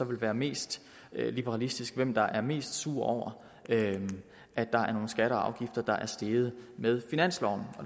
vil være mest liberalistisk hvem der er mest sur over at der er nogle skatter og afgifter der er steget med finansloven